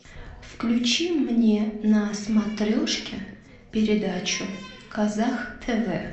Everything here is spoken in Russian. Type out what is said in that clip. включи мне на смотрешке передачу казах тв